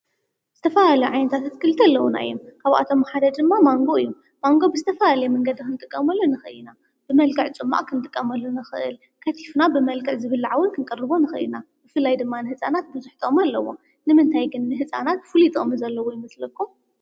ዝተፈላለዩ ዓይነታት ኣትክልቲ ኣለዉና፡፡ ካብኣቶም ሓደ ድማ ማንጎ እዩ፡፡ ማንጎ ብዝተፈላለየ መንገዲ ክንጥቀመሉ ንኽእል ኢና፡፡ ብመልክዕ ፁማቕ ኽንጥቀመሉ ንኽእል፣ ከቲፍና ብመልክዕ ዝብላዕውን ክንቅርቦ ንኽእል፡፡ ብፍላይ ድማ ንህፃናት ብዙሕ ጥቕሚ ኣለዎ፡፡ ንምንታይ ግን ንህፃናት ፍሉጥ ጥቕሚ ዘለዎ ይምስለኩም?